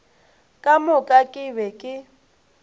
ka moka ke be ke